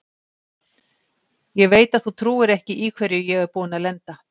Ég veit að þú trúir ekki í hverju ég er búinn að lenda.